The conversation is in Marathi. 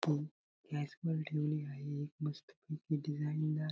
हि गॅस वर ठेवली आहे एक मस्त पैकी डिझाइन दार--